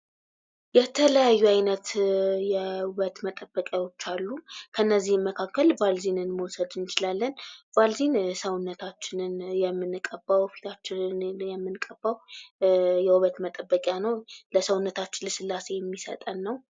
የተለያዩ አይነት የውበት መጠበቂያዎች አሉ። ከነዚህም መካከል ባልዚንን መውሰድ እንችላለን። ባልዚን ሰውነታችንን የምንቀባው፤ ፊታችንን የምንቀባው የውበት መጠበቂያ ነው። ለሰውነታችን ልስላሴ የሚሰጠን ነው።